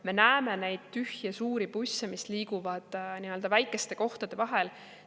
Me näeme neid tühje suuri busse, mis liiguvad väikeste kohtade vahel.